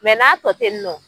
Mɛ n'a tɔ ten yen nɔ